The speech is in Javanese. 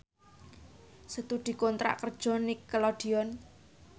Setu dikontrak kerja karo Nickelodeon